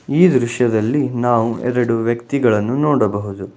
ಈ ದೃಶ್ಯದಲ್ಲಿ ನಾವು ಎರಡು ವ್ಯಕ್ತಿಗಳನ್ನು ನೋಡಬಹುದು.